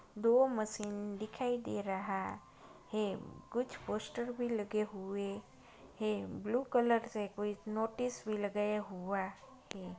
दो मशीन दिखाई दे रहा है। कुछ पोस्टर भी लगे हुए हैं ब्लू कलर से कुछ नोटिस भी लगाया हुआ है।